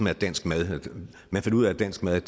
er dansk mad man fandt ud af at dansk mad